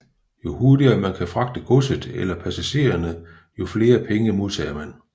Jo hurtigere man kan fragte godset eller passagererne jo flere penge modtager man